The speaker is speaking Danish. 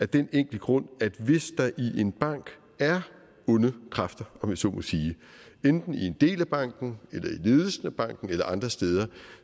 den enkle grund at hvis der i en bank er onde kræfter om jeg så må sige enten i en del af banken eller i ledelsen af banken eller andre steder